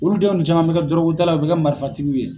Olu denw de caman bɛ kɛ dɔrɔgutala u bɛ kɛ marifatigiw ye.